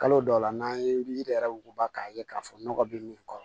Kalo dɔw la n'an ye yiri yɛrɛ wuguba k'a ye k'a fɔ nɔgɔ bɛ min kɔrɔ